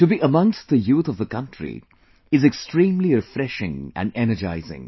To be amongst the youth of the country is extremely refreshing and energizing